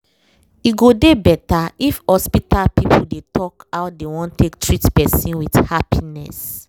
e go dey better if hospital people dey talk how dey won take treat person with happiness